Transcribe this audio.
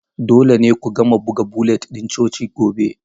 Dole ne ku gama buga bulletin ɗin coci gobe.